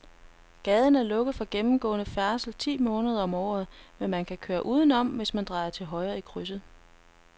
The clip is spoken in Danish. Gaden er lukket for gennemgående færdsel ti måneder om året, men man kan køre udenom, hvis man drejer til højre i krydset.